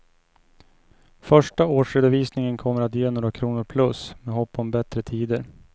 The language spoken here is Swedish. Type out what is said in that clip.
Första årsredovisningen kommer att ge några kronor plus, med hopp om bättre tider.